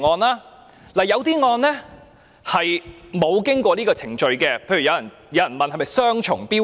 由於有些案件並沒有經過這個程序，有人便質疑這是雙重標準。